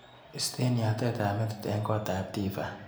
Istee yatetap metit eng kotap Tiffany.